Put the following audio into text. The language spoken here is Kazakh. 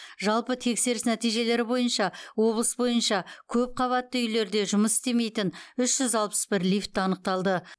жалпы тексеріс нәтижелері бойынша облыс бойынша көпқабатты үйлерде жұмыс істемейтін үш жүз алпыс бір лифт анықталды